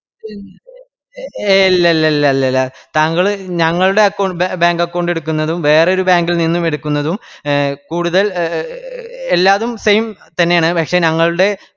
ഏയ് ഇല്ലല്ലില്ലല്ലില്ല താങ്കൾ ഞങ്ങളുടെ account ബേ bank account എടുക്കുന്നതും വേറൊരു bank ഇൽ നിന്നും എടുക്കുന്നതും കൂടുതൽ എ എ എല്ലാതും same തന്നെയാണ് പക്ഷെ ഞങ്ങളുടേ